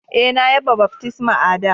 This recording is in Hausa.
E,na ya baftisma a'da.